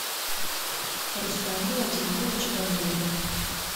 рустам владимирович бандурин